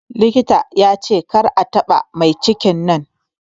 Likitan ya ce kar a taɓa maicikin nan